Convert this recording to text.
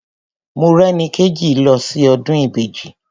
Morẹ́nikéjì ti lọ sí ọdún Ìbejì.